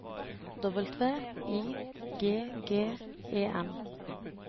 W I G G E N